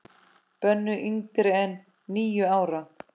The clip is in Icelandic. Bönnuð yngri en níu ára.